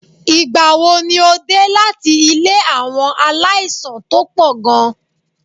Ìgbà wo ni o dé láti ilé àwọn aláìsàn tó pọ̀ gan-an?